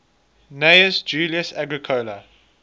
gnaeus julius agricola